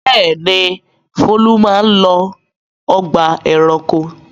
Bẹ́ẹ̀ni, Folu máa ń lọ ọgbà-ẹranko.